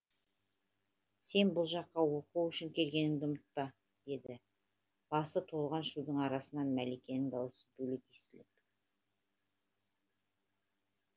сен бұл жаққа оқу үшін келгеніңді ұмытпа деді басы толған шудың арасынан мәликенің даусы бөлек естіліп